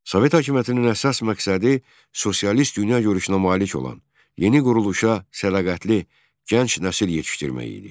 Sovet hökumətinin əsas məqsədi sosialist dünyagörüşünə malik olan, yeni quruluşa sədaqətli, gənc nəsil yetişdirmək idi.